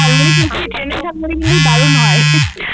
ঝালমুড়ি কিন্তু ট্রেন এর ঝালমুড়ি কিন্তু দারুন হয় ।